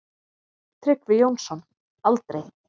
Tryggvi Jónsson: Aldrei.